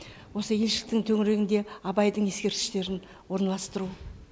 осы елшіліктің төңірегінде абайдың ескерткіштерін орналастыру